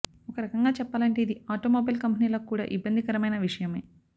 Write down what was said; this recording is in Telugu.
ఒక రకంగా చెప్పాలంటే ఇది ఆటోమొబైల్ కంపెనీలకు కూడా ఇబ్బందికరమైన విషయమే